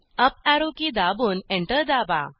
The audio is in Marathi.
अप अॅरो की दाबून एंटर दाबा